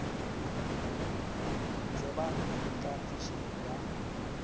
tseba eng ka phišo ya